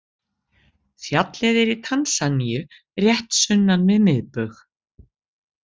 Fjallið er í Tansaníu rétt sunnan við miðbaug.